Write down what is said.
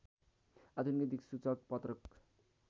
आधुनिक दिक्सूचक पत्रक